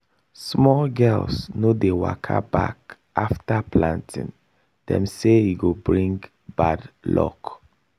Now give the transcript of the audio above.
small girls no dey waka back after planting dem say e go bring bad luck.